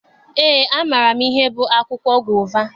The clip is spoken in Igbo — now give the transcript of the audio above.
Eé, amaara m ihe bụ akwụkwọ gova.